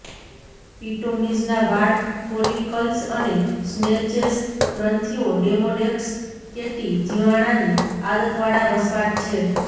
પિટોમિઝના વાળ ફોલિકલ્સ અને સ્નેચેસ ગ્રંથીઓ ડેમોડેક્સ કેટી જીવાણાની આદતવાળા વસવાટ છે